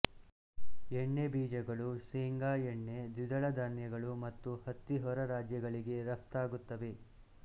ಎಣ್ಣೆ ಬೀಜಗಳು ಸೇಂಗಾ ಎಣ್ಣೆ ದ್ವಿದಳ ಧಾನ್ಯಗಳು ಮತ್ತು ಹತ್ತಿ ಹೊರ ರಾಜ್ಯಗಳಿಗೆ ರಫ್ತಾಗುತ್ತವೆ